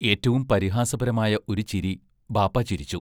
ഏറ്റവും പരിഹാസപരമായ ഒരു ചിരി ബാപ്പാ ചിരിച്ചു.